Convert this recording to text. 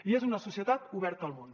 i és una societat oberta al món